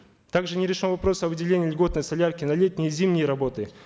также не решен вопрос о выделении льготной солярки на летние и зимние работы